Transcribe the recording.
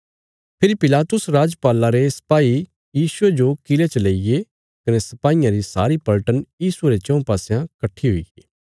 फेरी Pilatus राजपाला रे सपाई यीशुये जो किले च लेईये कने सपाईयां री सारी पलटन यीशुये रे चऊँ पासयां कट्ठी हुईगी